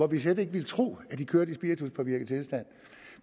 vi slet ikke ville tro at de kører i spirituspåvirket tilstand